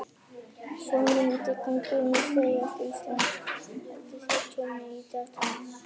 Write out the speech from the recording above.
Sjór myndi ganga inn á suðvesturhorn Íslands og valda þar tjóni í þéttbýli við sjávarsíðuna.